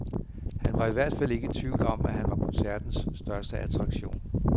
Han var i hvert fald ikke i tvivl om, at han var koncertens største attraktion.